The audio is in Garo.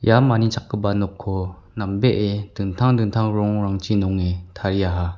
ia manichakgipa nokko nambee dingtang dingtang rongrangchi nonge tariaha.